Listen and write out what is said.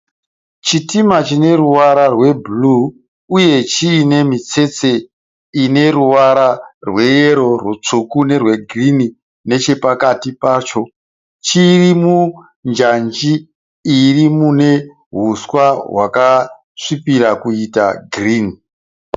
Chitima chine ruwara rwebhuruu uye chiine mitsetse ine ruwara rweyero, rutsvuku nerwegirini nechepakati pacho. Chiri munjanji iri mune huswa hwakasvibira kuita girini.